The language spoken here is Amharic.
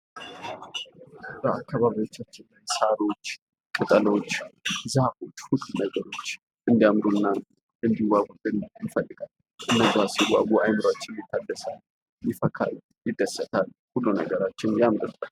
በአካባቢያችን ሳሮች፣ ቅጠሎች ፣ዛፎች ሁሉ ነገሮች እንዲያምሩ እና እንዲዋቡ ይፈልጋል። ለእይታ ሲዋቡ አይምሮአችን ይታደሳል ፣ይፈካል፣ ይደስታል ሁሉ ነገራችን ያምራል።